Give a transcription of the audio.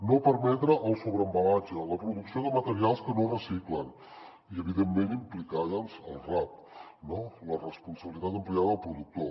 no permetre el sobreembalatge la producció de materials que no es reciclen i evidentment implicar hi el rap la responsabilitat ampliada del productor